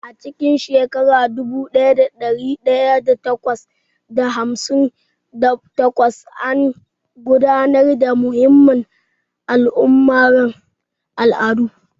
A cikin shekara dubu ɗaya da ɗari takwas da hamsin da takwas, an gudanar da muhimman al'amuran al'adu.